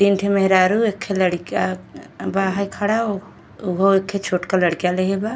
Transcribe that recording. तीन ठे मेहरारू एक ठे लड़िका बा हई खड़ा उहो एक ठोह छोट के लड़िका लेहिले बा।